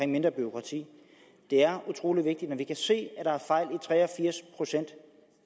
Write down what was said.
mindre bureaukrati det er utrolig vigtigt men vi kan se at der er fejl i tre og firs procent